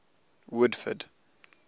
woodford